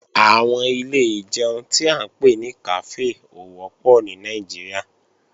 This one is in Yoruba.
Àwọn ilé ìjẹun tí à ń pè ní kàfé ò wọ́pọ̀ ní Nàìjíríà